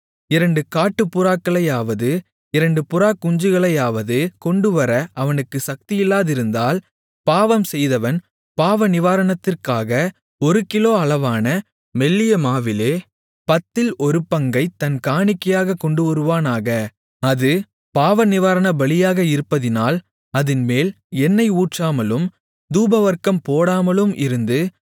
இரண்டு காட்டுப்புறாக்களையாவது இரண்டு புறாக்குஞ்சுகளையாவது கொண்டுவர அவனுக்குச் சக்தியில்லாதிருந்தால் பாவம் செய்தவன் பாவநிவாரணத்திற்காக ஒரு கிலோ அளவான மெல்லிய மாவிலே பத்தில் ஒரு பங்கைத் தன் காணிக்கையாகக் கொண்டுவருவானாக அது பாவநிவாரணபலியாக இருப்பதினால் அதின்மேல் எண்ணெய் ஊற்றாமலும் தூபவர்க்கம் போடாமலும் இருந்து